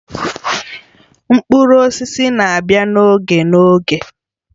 Mkpụrụ osisi na-abịa n'oge n'oge